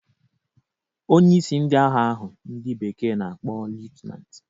Onyeisi ndị agha ahụ ndị bekee na-akpọ liutnant